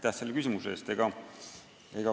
Aitäh selle küsimuse eest!